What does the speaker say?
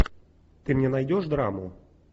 ты мне найдешь драму